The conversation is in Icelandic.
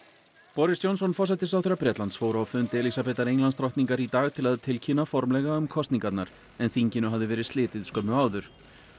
boris Johnson forsætisráðherra Bretlands fór á fund Elísabetar Englandsdrottningar í dag til að tilkynna formlega um kosningarnar en þinginu hafði verið slitið skömmu áður